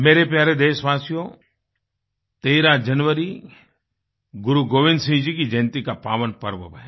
मेरे प्यारे देशवासियो 13 जनवरी गुरु गोबिंद सिंह जी की जयन्ती का पावन पर्व है